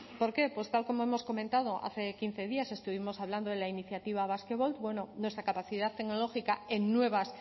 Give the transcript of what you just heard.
por qué pues tal como hemos comentado hace quince días estuvimos hablando de la iniciativa basquevolt bueno nuestra capacidad tecnológica en nuevas